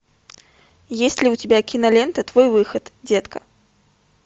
есть ли у тебя кинолента твой выход детка